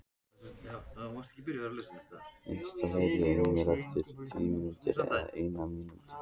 Kristall, heyrðu í mér eftir fjörutíu og eina mínútur.